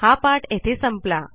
हा पाठ येथे संपला